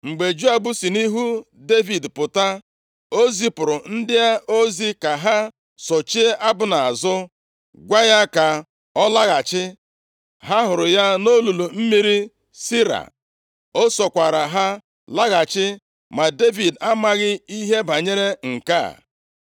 Mgbe Joab si nʼihu Devid pụta, o zipụrụ ndị ozi ka ha sochie Abna azụ, gwa ya ka ọ laghachi. Ha hụrụ ya nʼolulu mmiri Sira. O sokwara ha laghachi, ma Devid amaghị ihe banyere nke a.